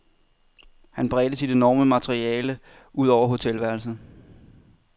Han bredte sit enorme materiale ud over hotelværelset.